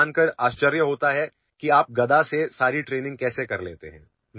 लोकांना या गोष्टीचे अत्यंत आश्चर्य वाटते की संही गदेच्या सहाय्याने सगळे प्रशिक्षण कसे घेतो